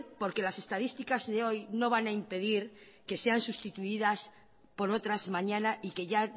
porque las estadísticas de hoy no van a impedir que sean sustituidas por otras mañana y que ya